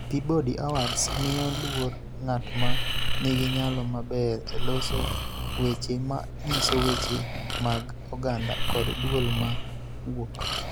Peabody Awards miyo luor ng�at ma nigi nyalo maber e loso weche ma nyiso weche mag oganda kod duol ma wuok.